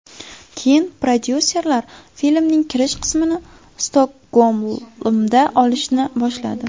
Keyin prodyuserlar filmning kirish qismini Stokgolmda olishni boshladi.